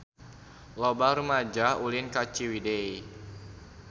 Loba rumaja ulin ka Ciwidey